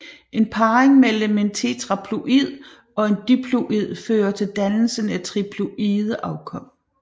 En parring mellem en tetraploid og en diploid fører til dannelsen af triploide afkom